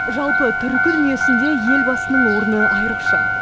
жалпы түркі дүниесінде елбасының орны айрықша